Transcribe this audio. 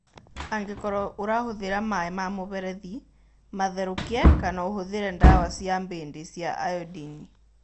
Angĩkorũo ũrahũthĩra maĩ ma mũberethi, matherũkie kana ũhũthĩre ndawa cia mbĩndĩ cia iodini.